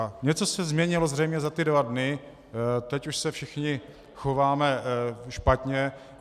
A něco se změnilo zřejmě za ty dva dny, teď už se všichni chováme špatně.